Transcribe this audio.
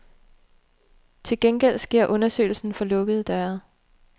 Til gengæld sker undersøgelsen for lukkede døre.